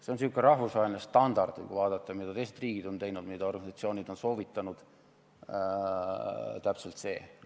See on selline rahvusvaheline standard – kui vaadata, mida teised riigid on teinud, mida organisatsioonid on soovitanud, siis näeme, et täpselt sedasama.